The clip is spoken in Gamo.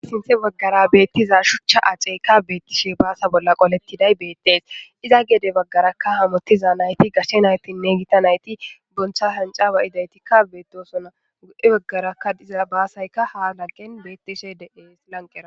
Duge bagara betiza shucha aceyka betishe basa bollara qoletidayi betesi, iza gede bagaraka hamutiza nayti gashe naytinne Gita nayti honca hanca ba'izayti betosona,he bagaraka diza basayika ha gadeni betishe de'es lanqera.